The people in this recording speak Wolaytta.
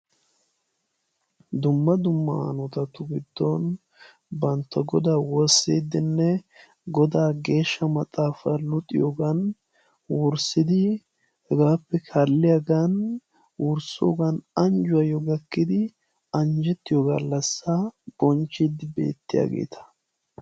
Dumma dumma aawatu giddon bantta godaa woossiddinne godaa geeshsha maxaafaa luxiyoogan wurssidi hegaappe kaalliyaagan worssoogan anjjuwaayyo gakkidi anjjettiyo gallassaa bonchchiiddi beettiyaageeta.